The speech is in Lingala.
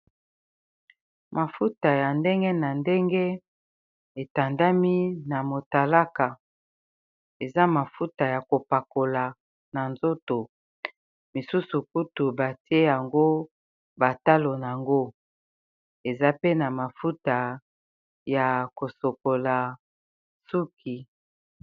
Mafuta ya ndenge na ndenge etandami na motalaka eza mafuta ya kopakola na nzoto misusu kutu batie yango batalo nango eza pe na mafuta ya kosokola suki.